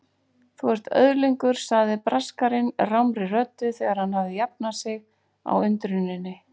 Þú ert öðlingur sagði Braskarinn rámri röddu þegar hann hafði jafnað sig á undruninni.